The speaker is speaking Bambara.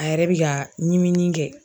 A yɛrɛ bɛ ka ɲiminin kɛ.